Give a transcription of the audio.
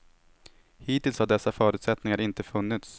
Hittills har dessa förutsättningar inte funnits.